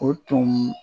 O tun